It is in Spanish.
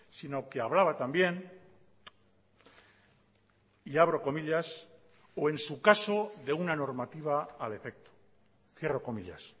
sino que hablaba también y abro comillas o en su caso de una normativa al efecto cierro comillas